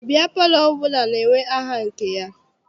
Biya palọ ọbụla na-enwe aha nke ya.